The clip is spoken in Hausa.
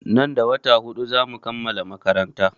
Nan da wata huɗu za mu kammala makaranta.